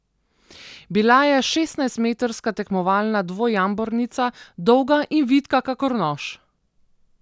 Bila je šestnajstmetrska tekmovalna dvojambornica, dolga in vitka kakor nož.